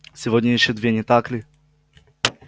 сегодня ещё две не так ли